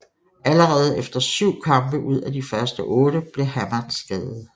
Allerede efter syv kampe ud af de første otte blev Hamad skadet